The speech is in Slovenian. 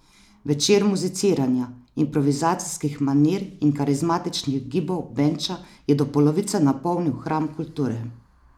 Večer muziciranja, improvizacijskih manir in karizmatičnih gibov Benča je do polovice napolnil hram kulture.